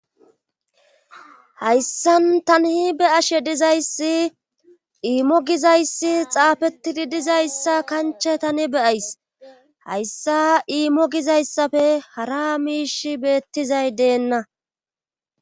Hayssan tanihi be ashe dizayssi iimmo gizayssi xaafettidi dizayssa kancha tani beyays hayssa iimo gizayssafe hara miish beettizay deenna